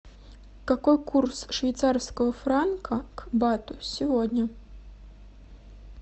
какой курс швейцарского франка к бату сегодня